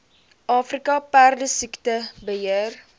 afrika perdesiekte beheer